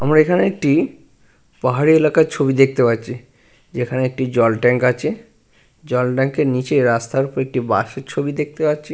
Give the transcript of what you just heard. আমরা এখানে একটি পাহাড়ি এলাকার ছবি দেখতে পাচ্ছি। যেখানে একটি জল ট্যাঙ্ক আছে। জল ট্যাংকের নিচে রাস্তার ওপর একটি বাসের ছবি দেখতে পাচ্ছি।